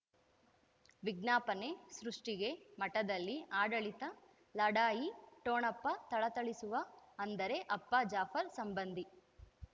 ವಿಜ್ಞಾಪನೆ ಸೃಷ್ಟಿಗೆ ಮಠದಲ್ಲಿ ಆಡಳಿತ ಲಢಾಯಿ ಠೊಣಪ ಥಳಥಳಿಸುವ ಅಂದರೆ ಅಪ್ಪ ಜಾಫರ್ ಸಂಬಂಧಿ